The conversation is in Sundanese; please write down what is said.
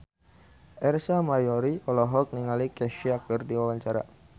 Ersa Mayori olohok ningali Kesha keur diwawancara